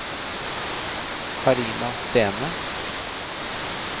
Karina Stene